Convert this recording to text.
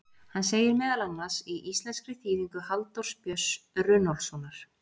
Hann segir meðal annars, í íslenskri þýðingu Halldórs Björns Runólfssonar: